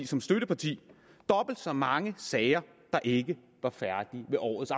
som støtteparti dobbelt så mange sager der ikke var færdige ved årets